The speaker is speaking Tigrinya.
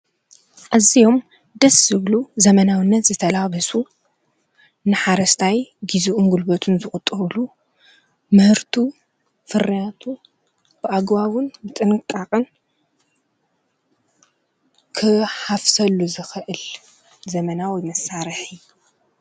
ኣዝዮም ደስ ዝብሉ ዘመናውነት ዝተላበሱ ንሓረስታይ ግዝኡን ጉልበቱን ዝቁጥብሉ ምህርቱ ፍርያቱን ብኣግባቡን ጥንቃቀን ክሓፍሰሉ ዝክእል ዘመናዊ መሳርሒ ።